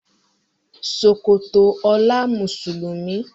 Ṣòkòtò ola Mùsùlùmí.